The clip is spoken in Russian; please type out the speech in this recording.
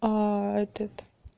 этот